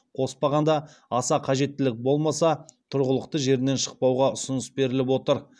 қоспағанда аса қажеттілік болмаса тұрғылықты жерінен шықпауға ұсыныс беріліп отыр